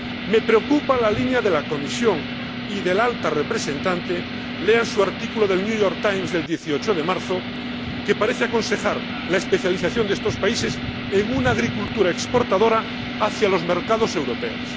Me preocupa la línea de la Comisión y de la Alta Representante lean su artículo del New York Times del 18 de marzo que parece aconsejar la especialización de estos países en una agricultura exportadora hacia los mercados europeos.